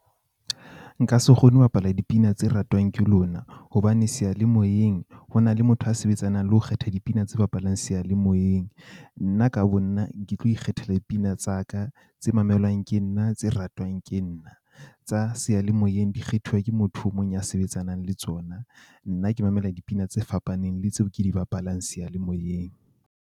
Nka se kgone ho bapala dipina tse ratwang ke lona hobane seyalemoyeng ho na le motho a sebetsanang le ho kgetha dipina tse bapalang seyalemoyeng. Nna ka bo nna ke tlo ikgethela dipina tsa ka tse mamelwang ke nna tse ratwang ke nna. Tsa seyalemoyeng di kgethuwa ke motho o mong ya sebetsanang le tsona. Nna ke mamela dipina tse fapaneng, le tseo ke di bapalang seyalemoyeng.